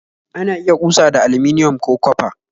Ana iya kusa da aliminium, ko copa